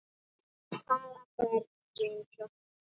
Vill hafa börnin svo fín.